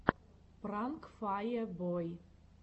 пранк фае бой